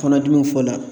Kɔnɔdimi fɔ la